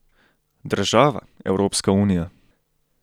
Država, Evropska unija?